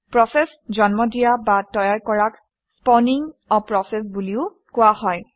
process জন্ম দিয়া বা তৈয়াৰ কৰাক স্পাউনিং a প্ৰচেছ বুলিও কোৱা হয়